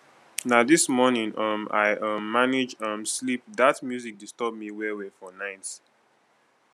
na dis morning um i um manage um sleep dat music disturb me wellwell for night